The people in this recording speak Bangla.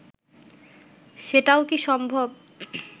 সেটাও কি সম্ভব